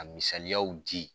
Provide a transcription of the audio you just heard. Ka misaliyaw di